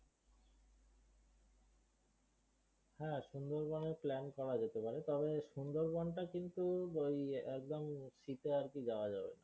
হ্যাঁ সুন্দরবন এর plan করা যেতে পারে তবে সুন্দরবন টা কিন্তু ওই একদম শীতে আর কি যাওয়া যাবে